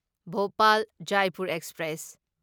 Bhopal Jaipur express